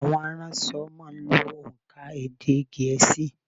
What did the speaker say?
Àwọn aránso má a n lo ònkà èdè gèésì